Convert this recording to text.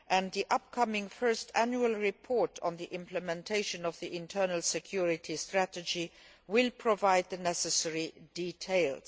The upcoming first Annual Report on the implementation of the Internal Security Strategy will provide the necessary details.